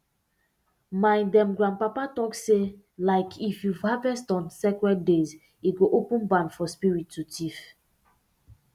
my dem grandpapa talk say like if you harvest on sacred days e go open barn for spirit to thief